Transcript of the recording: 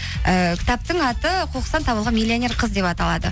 ііі кітаптың аты қоқыстан табылған миллионер қыз деп аталады